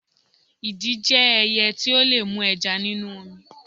Idì jẹ́ ẹyẹ tí ó lè mú ẹja nínú omi.